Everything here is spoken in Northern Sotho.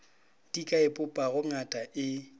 di ka ipopago ngata e